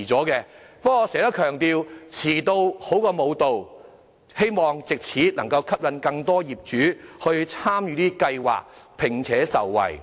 不過，我經常強調，"遲到好過無到"，希望藉此能吸引更多業主參與這計劃，從中受惠。